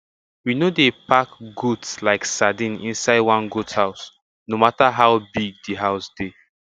we no dey pack goat like sardine inside one goat house no matter how big di house dey